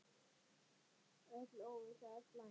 Öll óvissa er slæm.